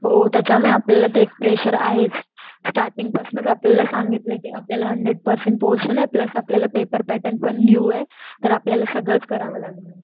हो त्याच्याने आपल्याला ते प्रेशर आहेच. स्टार्टींग पसंत आपल्याला सांगितलंय कि आपल्याला हंड्रेड पर्सेंट पोरशन आहे प्लस आपल्याला पेपर पॅटर्न पण न्यू ए तर आपल्याला सगळंच करावं लागणारे.